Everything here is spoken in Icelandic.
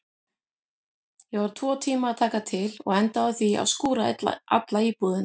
Ég var tvo tíma að taka til og endaði á því að skúra alla íbúðina.